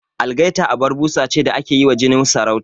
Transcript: Algaita abar busa ce da ake yi wa jinin sarauta